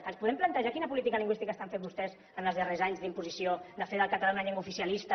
ens podem plantejar quina política lingüística estan fent vostès els darrers anys d’imposició de fer del català una llengua oficialista